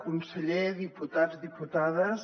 conseller diputats diputades